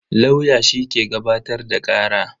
Lauya shi ke gabatar da kara.